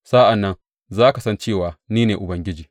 Sa’an nan za ka san cewa ni ne Ubangiji.